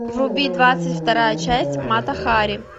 вруби двадцать вторая часть мата хари